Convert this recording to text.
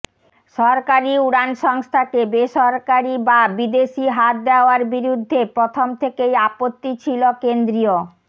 সরকারি উড়ান সংস্থাকে বেসরকারি বা বিদেশি হাত দেওয়ার বিরুদ্ধে প্রথম থেকেই আপত্তি ছিল কেন্দ্রীয়